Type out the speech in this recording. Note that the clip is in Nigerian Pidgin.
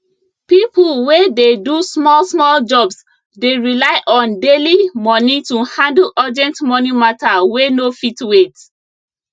people wey dey do smallsmall jobs dey rely on daily money to handle urgent money matter wey no fit wait